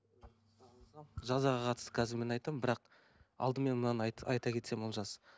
жазаға қатысты қазір мен айтамын бірақ алдымен мынаны айт айта кетсем олжас